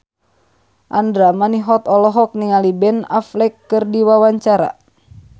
Andra Manihot olohok ningali Ben Affleck keur diwawancara